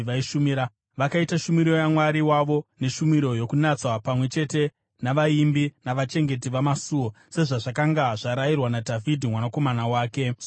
Vakaita shumiro yaMwari wavo neshumiro yokunatswa, pamwe chete navaimbi navachengeti vamasuo, sezvazvakanga zvarayirwa naDhavhidhi nomwanakomana wake Soromoni.